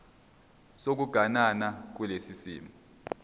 sokuganana kulesi simo